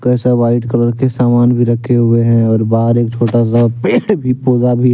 white colour के सामान भी रखे हुए हैं और बाहर एक छोटा सा पेड़ भी पौधा भी --